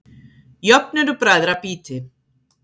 Jöfn eru bræðra býti.